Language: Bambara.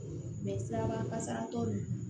siraba kasara tɔ nunnu na